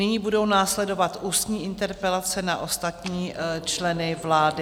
Nyní budou následovat ústní interpelace na ostatní členy vlády.